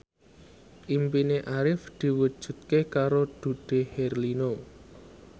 impine Arif diwujudke karo Dude Herlino